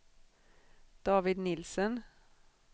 David Nielsen